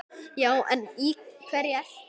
Já en í hverju ertu?